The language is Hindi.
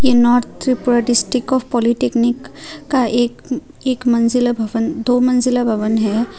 ये north Tripura district of polytechnic का एक एक मंजिला भवन दो मंजिला भवन है।